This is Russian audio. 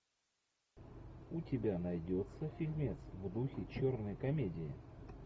у тебя найдется фильмец в духе черной комедии